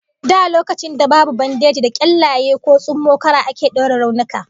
Da lokacin da babu bandeji, da kyallaye ko tsummokara ake daure raunuka